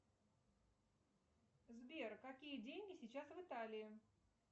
сбер какие деньги сейчас в италии